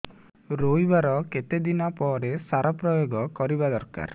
ରୋଈବା ର କେତେ ଦିନ ପରେ ସାର ପ୍ରୋୟାଗ କରିବା ଦରକାର